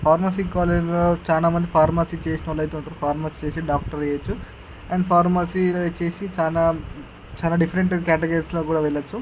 Pharmacy college లో చాలామంది pharmacy చేసినోలైతే ఉంటారు. ఫార్మసీ చేసి డాక్టర్ చేయొచ్చు. అండ్ ఫార్మసీ చేసి చాలా డిఫరెంట్ కేటగిరీస్ లోకి కూడా వెళ్లొచ్చు.